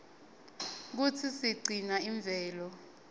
kutsi sigcine imvelo